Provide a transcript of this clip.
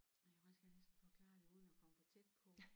Nej hvordan skal jeg næsten forklare det uden at komme for tæt på